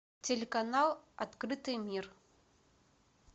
телеканал открытый мир